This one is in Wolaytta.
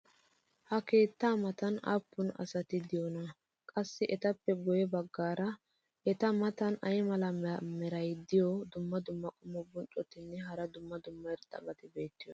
ha keettaa matan aappun asati diyoonaa? qassi etappe guye bagaara eta matan ay mala meray diyo dumma dumma qommo bonccotinne hara dumma dumma irxxabati beetiyoonaa?